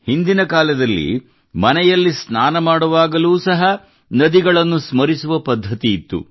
ಹಿಂದಿನ ಕಾಲದಲ್ಲಿ ಮನೆಯಲ್ಲಿ ಸ್ನಾನ ಮಾಡುವಾಗಲೂ ಸಹ ನದಿಗಳನ್ನು ಸ್ಮರಿಸುವ ಪದ್ಧತಿ ಇತ್ತು